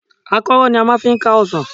Àkọ́rọ́ ni a máa fi ń ká ọsàn.